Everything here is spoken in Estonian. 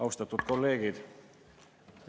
Austatud kolleegid!